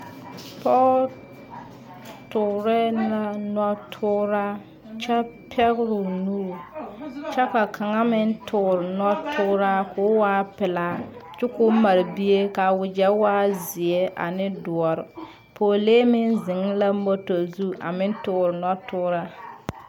Poge toore la noɔ tooraa kyɛ pɛgre o nuur. Kyɛ ka kan meŋ toore noɔ tooraa ka o waa pulaa. Kyɛ ka o mara bie ka a wagye waa zie ane duore. Poglee meŋ zeŋ la moto zu a meŋ toore noɔ tooraa